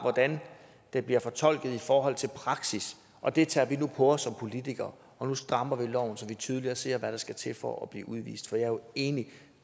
hvordan det bliver fortolket i forhold til praksis og det tager vi nu på os som politikere nu strammer vi loven så vi tydeligere ser hvad der skal til for at blive udvist for jeg er jo enig